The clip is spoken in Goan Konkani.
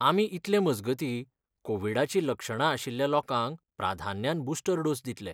आमी इतलें मजगती कोविडाची लक्षणां आशिल्ल्या लोकांक प्राधान्यान बुस्टर डोस दितले.